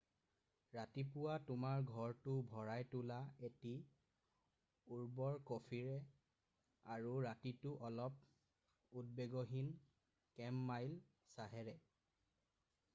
ৰাতিপুৱা তোমাৰ ঘৰটো ভৰাই তোলা এটি উৰ্বৰ কফিৰে আৰু ৰাতিটো অলপ উদ্বেগহীন কেমমাইল চাহেৰে